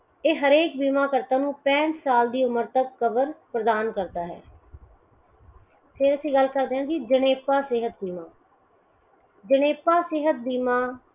ਇਹ ਹਰੇਕ ਬੀਮਾ ਕਰਤਾ ਪੈਠ ਸਾਲ ਕੀ ਓਮਰ ਤੱਕ ਕਵਰ ਪ੍ਰਦਾਨ ਕਰਦਾ ਹੈ। ਫਿਰ ਅਸੀਂ ਗਲ ਕਰਦੇ ਹਾਂ ਜਣੇਪਾ ਸੇਹਤ ਬੀਮਾ